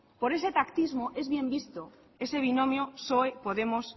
por ese pactismo es bien visto ese binomio psoe podemos